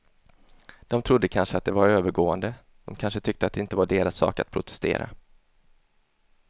De trodde kanske att det var övergående, de kanske tyckte att det inte var deras sak att protestera.